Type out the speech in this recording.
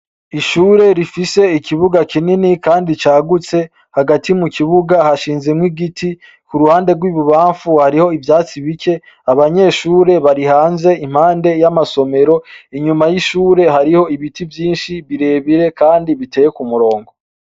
Ishure rifise ikibuga kinini kandi cagutse hagati mu kibuga hashinze mw'igiti ku ruhande rw'ibubamfu hariho ivyatsi bike abanyeshure barihanze impande y'amasomero. Inyuma y'ishure hariho ibiti vyinshi birebire kandi biteye kumurongo.